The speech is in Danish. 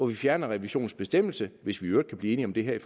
vi fjerner revisionsbestemmelsen hvis vi i øvrigt kan blive enige om det her i